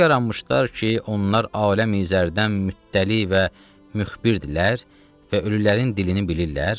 O yaranmışlar ki, onlar aləmi zərdən müttəli və müxbirdirlər və ölülərin dilini bilirlər.